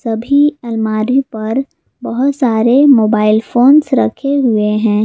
सभी अलमारी पर बहोत सारे मोबाइल फोन्स रखे हुए हैं।